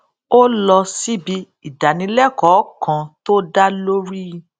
ó lọ síbi ìdánilékòó kan tó dá lórí